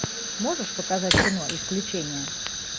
можешь показать кино исключение